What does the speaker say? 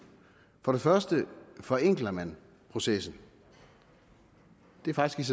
for det første forenkler man processen det er faktisk